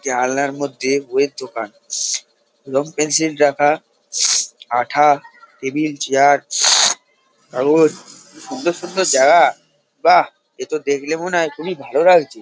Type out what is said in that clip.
জানলার মধ্যে বইয়ের দোকান রং পেন্সিল রাখা আঠা টেবিল চেয়ার কাগজ সুন্দর সুন্দর জায়গা বাহ এতো দেখলে মনে হয় খুবই ভালো লাগছে।